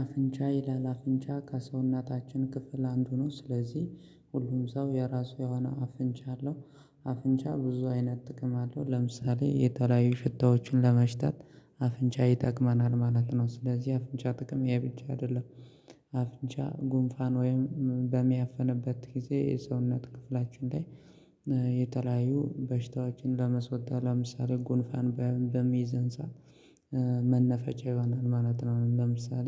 አፍንጫ ይላል አፍንጫ ከሰውነታችን ክፍል አንዱ ነው ስለዚህ ሁሉም ሰው የራሱ የሆነ አፍንጫ አለው። አፍንጫ ብዙ አይነት ጥቅም አለው ለምሳሌ የተለያዩ ሽታዎችን ለመሽታት አፍንጫ ይጠቅመናል ማለት ነው። ስለዚህ አፍንጫ ጥቅም ያብቻ አይደለም። አፍንጫ ጉንፋን ወይም በሚያፍንበት ጊዜ የሰውነት ክፍላችን ላይ የተለያዩ በሽታዎችን ለመስወጣት ለምሳሌ ጎንፋን በሚይዘን ሰዓት መናፈቻ የማናጥረው ለምሳሌ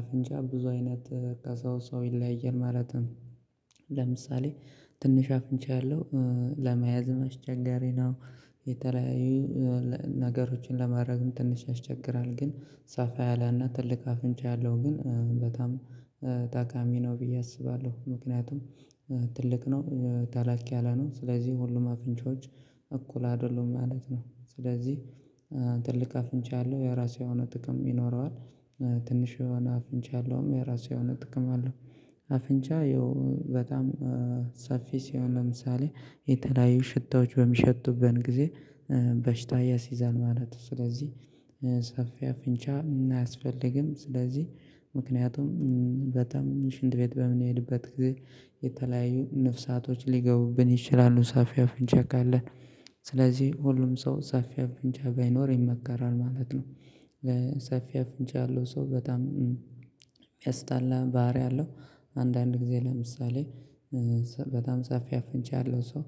አፍንጫ ብዙ አይነት ከሰው ሰው ይለያየን ማለትም ለምሳሌ ትንሽ አፍንቻለሁ ለመያዝ ማስቸጋሬ ነው። የተለያዩ ነገሮችን ለማድረግም ትንሽ ያስቸግራል ግን ሰፋ ያላና ትልቅ አፍንጫ ያለው ግን በጣም ታካሚ ነው ብዬ አስባለሁ። ምክንያቱም ትልቅ ነው ታላክ ያለ ነው ስለዚህ ሁሉም አፍንጮች እኩል አይደለም ማለት ነው። ስለዚህ ትልቅ አፍንቻ ያለው የራሴ የሆነ ጥቅም ይኖረዋል። ትንሽ የሆነ አፍንጫ ያለውም የራሱ የሆነ ጥቅም አለው። አፍንጫ ይኸው በጣም ሰፊ ሲሆን ለምሳሌ የተለያዩ ሽታዎች በሚሸቱበት ጊዜ በሽታ ያሲዛል ማለት ነው። ስለዚህ ሰፊ አፍንጫ አያስፈልግም ስለዚህ ምክንያቱም በጣም ሽንት ቤት በምንሄድበት ጊዜ የተለያዩ ነፍሳቶች ሊገቡብን ይችላሉ ሰፊ አፍንጫ ካለን ስለዚህ ሁሉም ሰው ሰፊ አፍንጫ ባይኖር ይመከራል ማለት ነው። ሰፊ አፍንጫ ያለው ሰው በጣም የሚያስጣላ ባህሪ አለው። አንዳንድ ጊዜ ለምሳሌ በጣም ሰፊ አፍንቻለሁ ሰው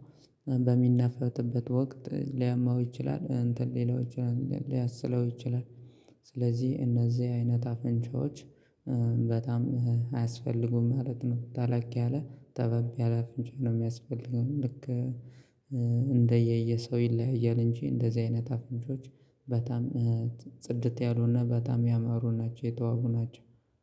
በሚናፈጥበት ወቅት ሊያመው ይችላል እንትን ሌላው ይችላል ሊያስለው ይችላል። ስለዚህ እነዚህ አይነት አፍንጫዎች በጣም አያስፈልጉም ማለት ነው። ታላቅ ያለ ጠባብ ያለ አፍንጫ ነው የሚያስፈልገው ልክ እንደየየ ሰው ይለያያል። እንጂ እንደዚህ አይነት አፍንጮች በጣም ጽድት ያሉና በጣም ያማሩ ናቸው የተዋቡ ናቸው